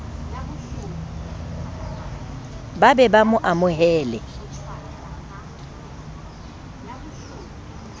ba be ba mo amohele